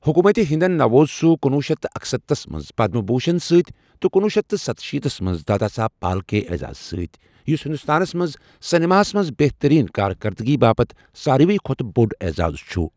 حكوُمت ہِندن نَوۄز سہُ کنوہ شتھ اکستتھس منٛز پَدم بھوٗشن سۭتۍ تہٕ کنوہہ شتھ ستشیٖتس منٛز دادا صاحب پھالکے اعزاز سۭتۍ، یُس ہندوستانس منٛز سیٚنِماہس منز بہتٔریٖن کارکَردگی باپتھ سارۍوٕے کھۄتہ بوٚڑ اعزاز چُھ۔